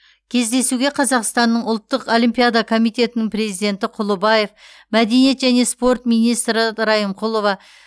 кездесуге қазақстанның ұлттық олимпиада комитетінің президенті т құлыбаев мәдениет және спорт министрі а райымқұлова